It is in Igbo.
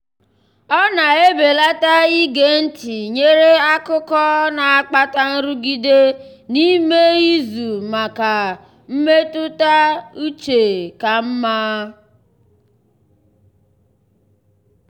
ọ na-ebelata ige ntị nyere akụkọ na-akpata nrụgide n'ime izu maka maka mmetụta uche ka mma.